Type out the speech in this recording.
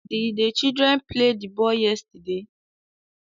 Did the children play the ball yesterday